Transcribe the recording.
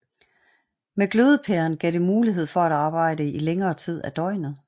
Med glødepæren gav det mulighed for at arbejde i længere tid af døgnet